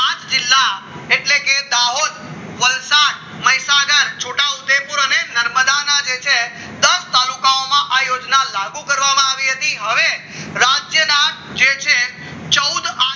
પાંચ જિલ્લા એટલે કે દાહોદ વલસાડ મહીસાગર છોટાઉદેપુર અને નર્મદાના જે છે દસ તાલુકામાં આ યોજના લાગુ કરવામાં આવી હતી હવે રાજ્યના જે છે ચૌદ